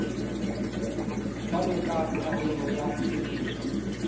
jwalo ka karolo ya tshebetso